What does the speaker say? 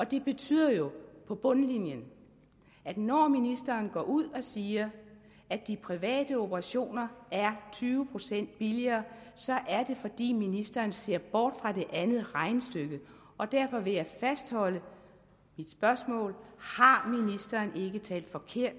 det betyder jo på bundlinjen at når ministeren går ud og siger at de private operationer er tyve procent billigere så er det fordi ministeren ser bort fra det andet regnestykke derfor vil jeg fastholde mit spørgsmål har ministeren ikke talt forkert